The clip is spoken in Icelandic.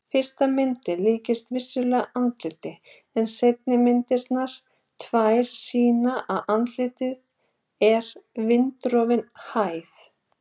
Fyrsta myndin líkist vissulega andliti en seinni myndirnar tvær sýna að andlitið er vindsorfin hæð.